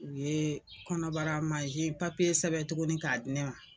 U ye kɔnɔbara mansin sɛbɛn tuguni k'a di ne ma.